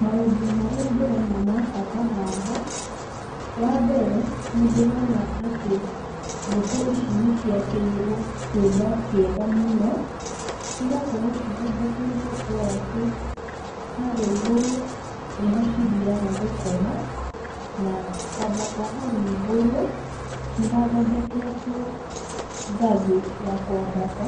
Maũndũ marĩa ndĩrona ma bata haha, wambere, nĩndĩrona atĩ ngũkũ ici nĩciakĩirwo kĩũmba kĩega mũno, cigakorwo cithondekeirwo ũ atĩ, harĩa igũrũ nĩho cithiaga gũkoma, na kwambata hau igũrũ, nĩhathondeketwo ngathĩ ya kwambata.